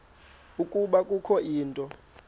ukuba kukho into